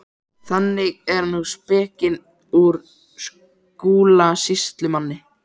Þannig er nú spekin úr Skúla sýslumanni.